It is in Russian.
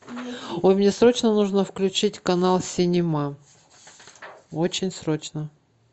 ой мне срочно нужно включить канал синема очень срочно